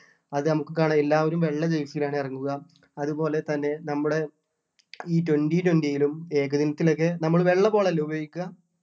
അത് നമുക്ക് കാണാം എല്ലാവരും വെള്ള jersey ലാണ് ഇറങ്ങുക അതുപോലെ തന്നെ നമ്മുടെ ഈ twenty-twenty ലും ഏകദിനത്തിലും ഒക്കെ നമ്മള് വെള്ള ഉപയോഗിക്കുക